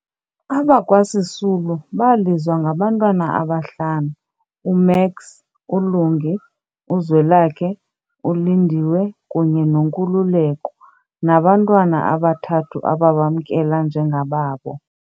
Abakwa Sisulu balizwa ngabantwana abahlanu, u-Max, uLungi, uZwelakhe, uLindiwe kunye noNkululeko, nabantwana abathathu ababamnkela njengababo.